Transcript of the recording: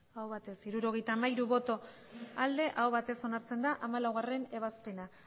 aurkako botoak abstentzioa hirurogeita hamairu bai aho batez onartzen da hamalauebazpena